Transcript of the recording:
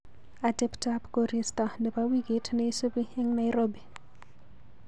Ateptap korista nebo wikit neisubi eng Nairobi.